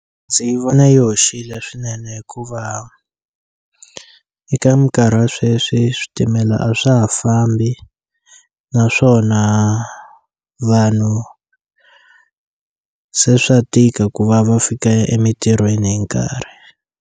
Ndzi vona yi hoxile swinene hikuva eka minkarhi ya sweswi switimela a swa ha fambi naswona vanhu se swa tika ku vava fika emitirhweni hi nkarhi.